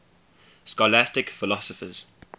scholastic philosophers